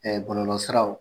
Ɛɛ bɔlɔlɔ siraw